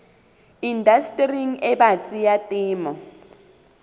indastering e batsi ya temo